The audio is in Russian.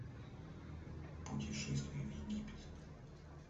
путешествие в египет